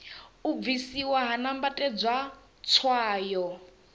u bvisiwa ha nambatedzwa tswayo